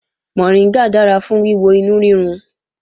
Mọ̀ríngà dára fún wíwo inú rírun